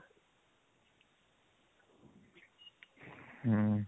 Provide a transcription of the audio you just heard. ହୁଁ